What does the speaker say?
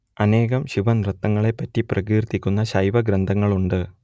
അനേകം ശിവനൃത്തങ്ങളെപ്പറ്റി പ്രകീർത്തിക്കുന്ന ശൈവഗ്രന്ഥങ്ങളുണ്ട്